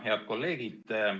Head kolleegid!